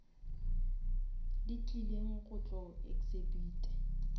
di tlileng go tlo exhibita